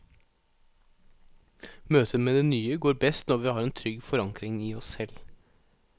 Møtet med det nye går best når vi har en trygg forankring i oss selv.